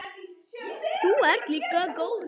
Þú ert líka góður.